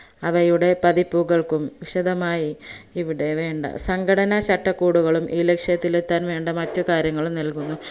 അവയുടെ പതിപ്പുകകൾക്കും വിശദമായി ഇവിടെ വേണ്ട സംഘടനചട്ടക്കൂടുകളും ഈ ലക്ഷ്യത്തിലെത്താൻ വേണ്ട മറ്റ് കാര്യങ്ങളും നൽകുന്നു